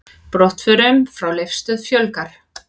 Brottförum frá Leifsstöð fjölgar